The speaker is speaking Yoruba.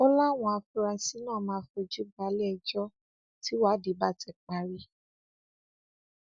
ojúẹsẹ làwọn èèyàn ti bẹrẹ sí pariwo pé ìwà náà kù díẹ káàtó